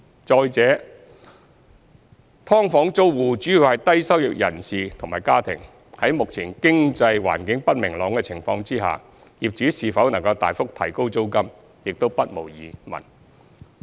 再者，"劏房"租戶主要是低收入人士及家庭，在目前經濟環境不明朗的情況下，業主是否能大幅提高租金，也不無疑問。